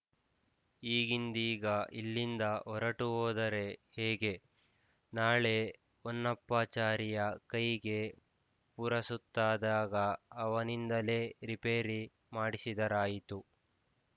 ಈಗಿಂದೀಗ ಇಲ್ಲಿಂದ ಹೊರಟುಹೋದರೆ ಹೇಗೆ ನಾಳೆ ಹೊನ್ನಪ್ಪಾಚಾರಿಯ ಕೈಗೆ ಪುರಸುತ್ತಾದಾಗ ಅವನಿಂದಲೇ ರಿಪೇರಿ ಮಾಡಿಸಿದರಾಯಿತು